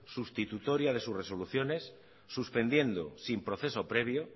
sustitutoria de sus resoluciones suspendiendo sin proceso previo